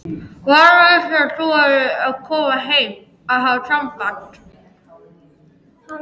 Valur vissi af því að ég væri að koma heim og hafði samband.